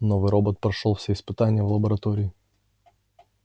новый робот прошёл все испытания в лаборатории